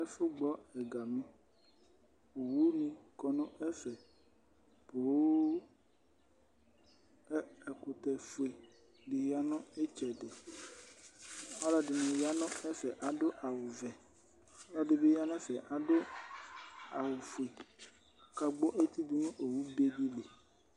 Ɛfʋgbɔ ɛgami Owunɩ kɔ nʋ ɛfɛ poo kʋ ɛkʋtɛfue dɩ ya nʋ ɩtsɛdɩ Ɔlɔdɩnɩ ya nʋ ɛfɛ kʋ adʋ awʋvɛ kʋ ɛdɩ bɩ ya nʋ ɛfɛ kʋ adʋ awʋfue kʋ ɔkagbɔ eti dʋ nʋ owufue dɩ li